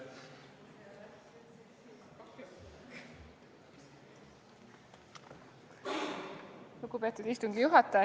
Lugupeetud istungi juhataja!